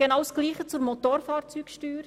Dasselbe gilt für die Motorfahrzeugsteuer.